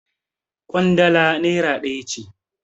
Ƙwandala nera ɗaya ce.